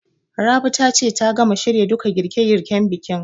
Rabi ta ce ta gama shirya duka girƙe girƙen bikin